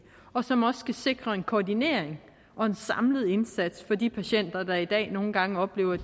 og som også skal sikre en koordinering og en samlet indsats for de patienter der i dag nogle gange oplever at